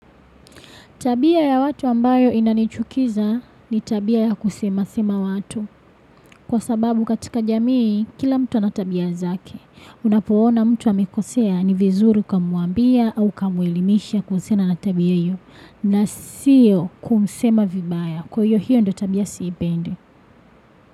Tabia ya watu ambayo inanichukiza ni tabia ya kusema-sema watu. Kwa sababu katika jamii, kila mtu anatabia zake. Unapoona mtu amekosea ni vizuri ukamuambia au ukamuelimisha kuhusiana natabia hiyo. Na siyo kumsema vibaya. Kwa hiyo hiyo ndo tabia siipende.